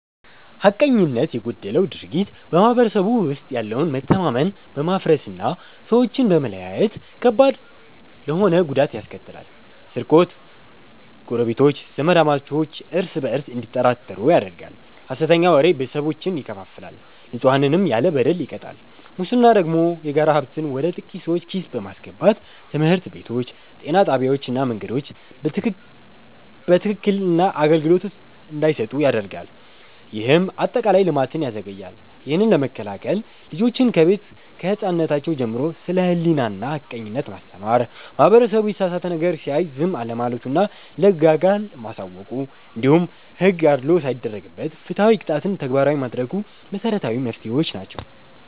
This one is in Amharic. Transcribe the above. ሐቀኝነት የጎደለው ድርጊት በማህበረሰቡ ውስጥ ያለውን መተማመን በማፍረስና ሰዎችን በመለያየት ከባድ ተሆነ ጉዳት ያስከትላል፤ ስርቆት ጎረቤቶች፣ ዘማዳሞች እርስ በእርስ እንዲጠራጠሩ ያደርጋል፣ ሐሰተኛ ወሬ ቤተሰቦችን ይከፋፍላል፣ ንጹሐንንም ያለ በደል ይቀጣል። ሙስና ደግሞ የጋራ ሀብትን ወደ ጥቂት ሰዎች ኪስ በማስገባት ትምህርት ቤቶች፣ ጤና ጣቢያዎችና መንገዶች በትክክክን አገልግሎት እንዳይሰጡ ያደርጋል፤ ይህም አጠቃላይ ልማትን ያዘገያል። ይህንን ለመከላከል ልጆችን ከቤት ከህፃንነራቸው ጀምሮ ስለ ሕሊናና ሐቀኝነት ማስተማር፣ ማህበረሰቡ የተሳሳተ ነገር ሲያይ ዝም አለማለቱና ለህግ አካል ማሳወቁ፣ እንዲሁም ሕግ አድልዎ ሳይደረግበት ፍትሃዊ ቅጣትን ተግባራዊ ማድረጉ መሰረታዊ መፍትሄዎች ናቸው።